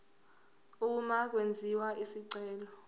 uma kwenziwa isicelo